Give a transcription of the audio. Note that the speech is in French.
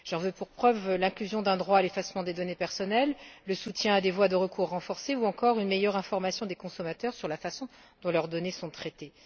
J'en veux pour preuve l'inclusion d'un droit à l'effacement des données personnelles, le soutien à des voies de recours renforcées ou encore une meilleure information des consommateurs sur la façon dont leurs données sont traitées.